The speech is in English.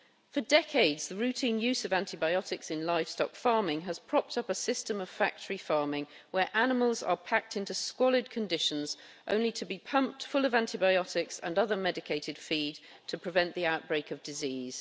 For decades the routine use of antibiotics in livestock farming has propped up a system of factory farming where animals are packed into squalid conditions, only to be pumped full of antibiotics and other medicated feed to prevent the outbreak of disease.